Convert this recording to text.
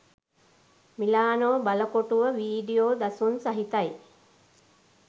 Milano බලකොටුව video දසුන් සහිතයි